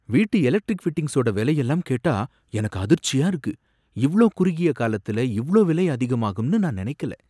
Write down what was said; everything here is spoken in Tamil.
வீட்டு எலக்ட்ரிக் ஃபிட்டிங்ஸோட விலையெல்லாம் கேட்டா எனக்கு அதிர்ச்சியா இருக்கு! இவ்ளோ குறுகிய காலத்துல இவ்ளோ விலை அதிகமாகுன்னு நான் நினைக்கல!